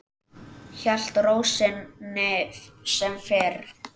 Hélt ró sinni sem fyrr.